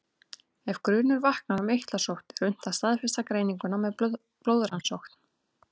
Ef grunur vaknar um eitlasótt er unnt að staðfesta greininguna með blóðrannsókn.